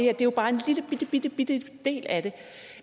er jo bare en lillebitte del af det